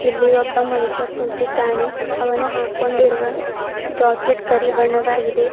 ಇಲ್ಲಿ ಒಬ್ಬ ಮನುಷ್ಯ ಕುಂತಿದ್ದಾನೆ ಅವನು ಹಾಕೊಂಡಿರುವ ಜಾಕೆಟ್ ಕರಿ ಬಣ್ಣದ್ದಾಗಿದೆ.